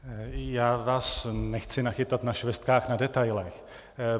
Já vás nechci nachytat na švestkách na detailech.